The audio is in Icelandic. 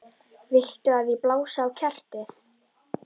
Viltu að ég blási á kertið?